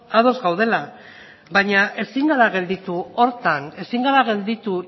ados gaudela baina ezin gara gelditu horretan ezin gara gelditu